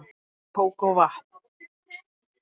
Kók og vatn